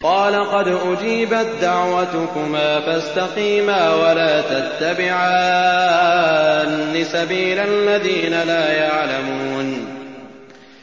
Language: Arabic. قَالَ قَدْ أُجِيبَت دَّعْوَتُكُمَا فَاسْتَقِيمَا وَلَا تَتَّبِعَانِّ سَبِيلَ الَّذِينَ لَا يَعْلَمُونَ